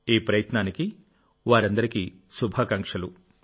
ఈ ప్రయత్నానికి వారందరికీ శుభాకాంక్షలు